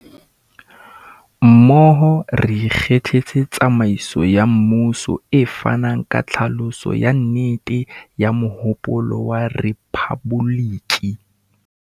Mmoho, re ikgethetse tsamaiso ya mmuso e fanang ka tlhaloso ya nnete ya mohopolo wa rephaboliki.